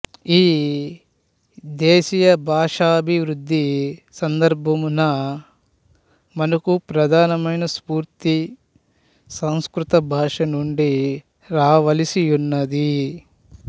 ఈ దేశీయభాషాభీవృద్ధిసందర్భమున మనకు ప్రధానమైన స్ఫూ ర్తి సంస్కృతభాషనుండి రావలసియున్నది